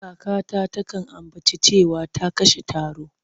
Kakata takan ambaci cewa ta kashe taro.